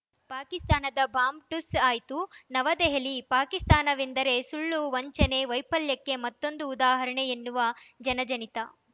ಪಾಕಿಸ್ತಾನದ ಬಾಂಬ್‌ ಠುಸ್‌ ಆಯ್ತು ನವದೆಹಲಿ ಪಾಕಿಸ್ತಾನವೆಂದರೆ ಸುಳ್ಳು ವಂಚನೆ ವೈಫಲ್ಯಕ್ಕೆ ಮತ್ತೊಂದು ಉದಾಹರಣೆ ಎನ್ನುವುದು ಜನಜನಿತ